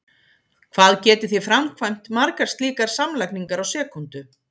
hvað getið þið framkvæmt margar slíkar samlagningar á sekúndu!